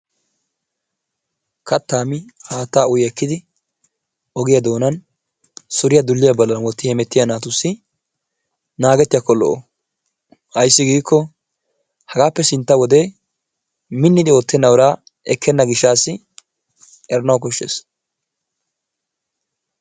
katta mi haatta uyi ekkidi ogiyaa doonan suriyaa dulliyaa ballan wotti ekki hemettiya naatussi naagetiyakko lo''o! ayssi giiko hagappe sintta wodee miniddi oottena uraa ekkena gishshassi eranaw koshshees.